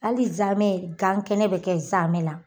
Hali nsaamɛ gan kɛnɛ bɛ kɛ nsaamɛ la